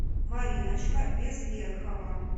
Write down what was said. мариночка безверхова